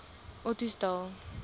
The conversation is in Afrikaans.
ottosdal